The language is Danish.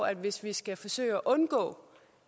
at hvis vi skal forsøge at undgå